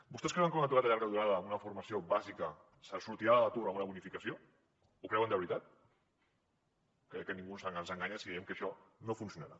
vostès creuen que un aturat de llarga durada amb una formació bàsica sortirà de l’atur amb una bonificació ho creuen de veritat crec que ningú ens enganya si diem que això no funcionarà